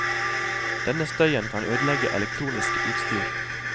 Denne støyen kan ødelegge elektronisk utstyr.